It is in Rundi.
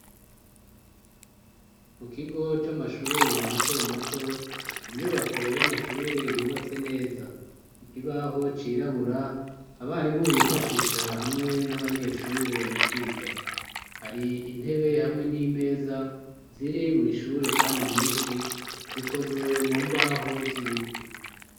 Mukigo c'amashure matomato inyubako y'amashure yubatse neza, ikibaho cirabura abarimu bifashisha hamwe n'abanyeshure mukwiga, hari intebe hamwe n'imeza ziri mw'ishure kandi nyinshi zikozwe mumbaho z'ibiti.